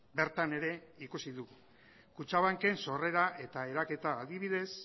bertan ere ikusi du kutxabanken sorrera eta eraketa adibidez